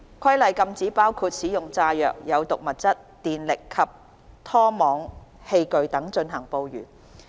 《規例》禁止包括使用炸藥、有毒物質、電力及拖網器具等進行捕魚。